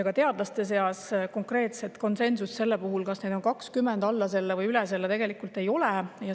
Ka teadlaste seas ei ole konkreetset konsensust selles, kas neid on 20, alla selle või üle selle.